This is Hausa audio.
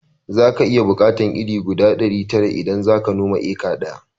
Zaka iya buƙatar iri guda ɗari tara idan zaka noma eka ɗaya